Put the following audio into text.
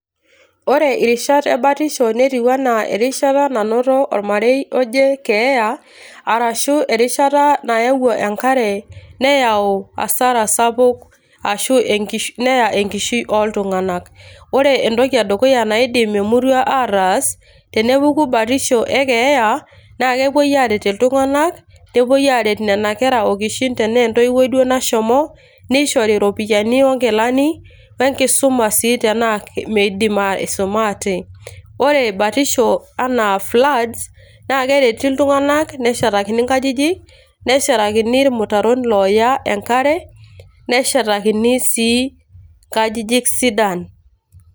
woore rishat ebatisho netiuu enaa erishata nanoto olmarei ojee keeya arashu erishata naewuo enkare neyau hasara sapuk aashu neya enkishui oltunganak .Wore entoki edukuya naidim emurua ataas tenepuku batisho ekeeya naa pepuoi areet iltunganak nepuoi areet nena kera okishin, tenaa entoiwuoi duoo nashomo nishori ropiyiani onkilani wenkisuma sii tenaa midim aisumaa atee .Wore batisho anaa floods nakereti iltunganak neshetakini nkajijik neshetakini ilmutaron ooya Enkare neshetakini sii nkajijik sidan